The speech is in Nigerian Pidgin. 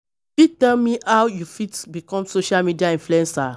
You fit tell me how you fit become social media influencer?